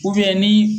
ni